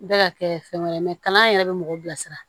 Bɛ ka kɛ fɛn wɛrɛ ye kalan yɛrɛ bɛ mɔgɔw bilasira